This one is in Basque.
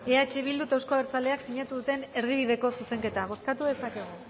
eh bildu eta euzko abertzaleak sinatu duten erdibideko zuzenketa bozkatu dezakegu